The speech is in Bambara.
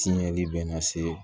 Tiɲɛni bɛ na se